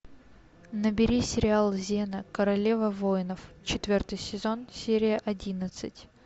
набери сериал зена королева воинов четвертый сезон серия одиннадцать